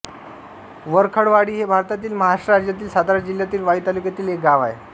वरखडवाडी हे भारतातील महाराष्ट्र राज्यातील सातारा जिल्ह्यातील वाई तालुक्यातील एक गाव आहे